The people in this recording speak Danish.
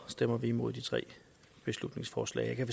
stemmer vi imod de tre beslutningsforslag jeg kan